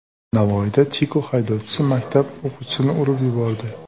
Navoiyda Tiko haydovchisi maktab o‘quvchisini urib yubordi.